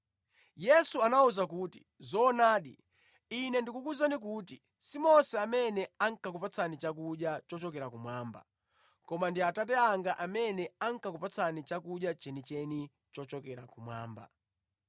Yesu anawawuza kuti, “Zoonadi, Ine ndikukuwuzani kuti si Mose amene ankakupatsani chakudya chochokera kumwamba, koma ndi Atate anga amene ankakupatsani chakudya chenicheni chochokera kumwamba.